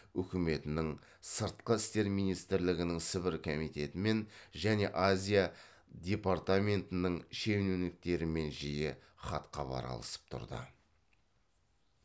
үкіметінің сыртқы істер министрлігінің сібір комитетімен және азия департаментінің шенеуніктерімен жиі хатхабар алысып тұрды